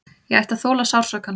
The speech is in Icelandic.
Ég ætti að þola sársaukann.